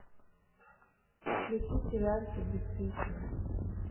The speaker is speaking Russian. включи сериальчик бесстыжие